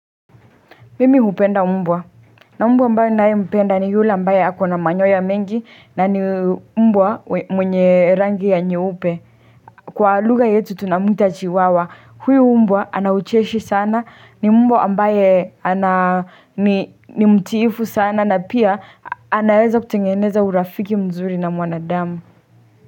Mimi hupenda mbwa na mbwa ambaye ninaimpenda ni yule ambaye ako na manyoa ya mengi na ni mbwa mwenye rangi ya nyeupe Kwa lugha yetu tunamwita chiwawa huyu mbwa anaucheshi sana ni mbwa ambaye ana ni mtiifu sana na pia anaweza kutengeneza urafiki mzuri na mwanadamu.